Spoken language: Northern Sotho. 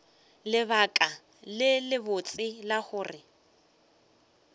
lebaka le lebotse la gore